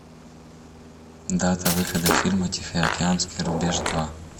дата выхода фильма тихоокеанский рубеж два